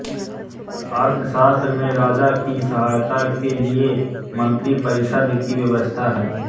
अर्थशास्त्र में राजा की सहायता के लिये मन्त्रिपरिषद् की व्यवस्था है